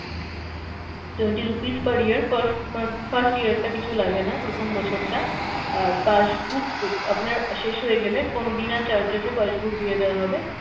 twenty rupees per year, first month first year টা কিছু লাগেনা প্রথম বছরটা, আর passbook আপনার শেষ হয়ে গেলে কোনো বিনা charges এ আপনার passbook দিয়ে দেওয়া হবে,